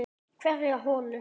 Hverja holu.